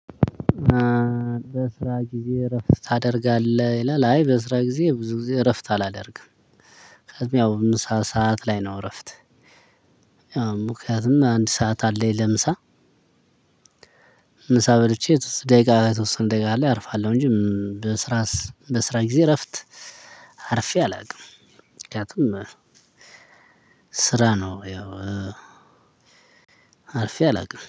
በስራ ጊዜ እረፍት ታደርጋለህ ይላል? አይ በስራ ጊዜ ብዙ ጊዜ እረፍት አላደርግም። ያው ምሳ ሰዓት ላይ ነው እረፍት ምክንያቱም አንድ ሰዓት አለኝ ለምሳ። ምሳ በልቼ ደቂቃ ላይ የተወሰነ ደቂቃ ላይ አርፋለው። እንጂ በስራ በስራ ጊዜ እረፍት አርፌ አላውቅም። ምክንያቱም ስራ ነው ያው አልፌ አላውቅም